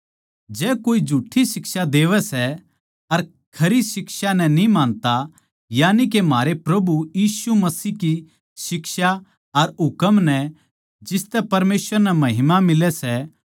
जै कोए झुठ्ठी शिक्षा देवै सै अर खरी शिक्षा नै न्ही मानता यानिके म्हारै प्रभु यीशु मसीह की शिक्षा अर हुकम नै जिसतै परमेसवर नै महिमा मिलै सै